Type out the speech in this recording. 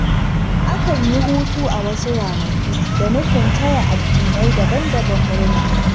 Akan yi hutu a wasu ranaku da nufin taya addinai daban-daban murna.